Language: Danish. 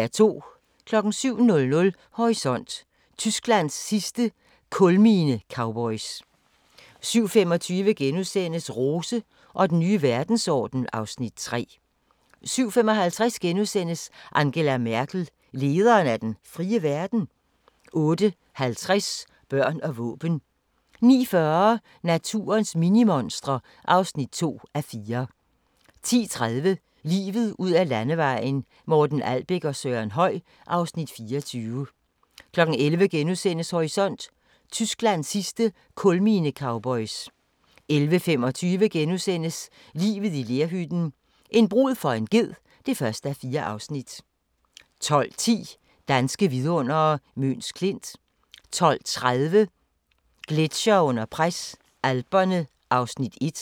07:00: Horisont: Tysklands sidste kulminecowboys 07:25: Rose og den nye verdensorden (Afs. 3)* 07:55: Angela Merkel – lederen af den frie verden? * 08:50: Børn og våben 09:40: Naturens minimonstre (2:4) 10:30: Livet ud ad landevejen: Morten Albæk og Søren Høy (Afs. 24) 11:00: Horisont: Tysklands sidste kulminecowboys * 11:25: Livet i lerhytten – en brud for en ged (1:4)* 12:10: Danske vidundere: Møns Klint 12:30: Gletsjere under pres – Alperne (1:4)